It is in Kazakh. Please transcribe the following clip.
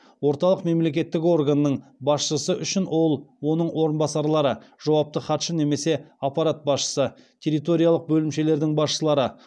орталық мемлекеттік органның басшысы үшін ол оның орынбасарлары жауапты хатшы немесе аппарат басшысы территориялық бөлімшелердің басшылары